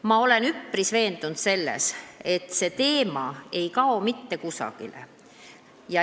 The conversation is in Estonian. Ma olen üpris veendunud selles, et see teema ei kao mitte kusagile.